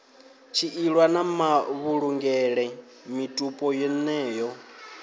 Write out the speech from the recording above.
tshiilwa na mavhulungele mitupo yeneyo